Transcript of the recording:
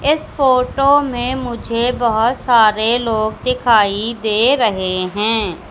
इस फोटो में मुझे बहोत सारे लोग दिखाई दे रहे हैं।